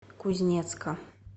кузнецка